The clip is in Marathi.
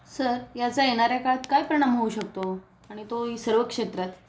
सर याचा येणाऱ्या काळत काय परिणाम होऊ शकतो आणि तो ही सर्व क्षेत्रात